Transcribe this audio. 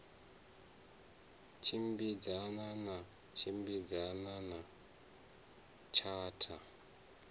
tshimbidzana na tshimbidzana na tshatha